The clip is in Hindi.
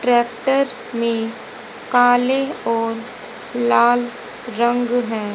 ट्रैक्टर में काले और लाल रंग है।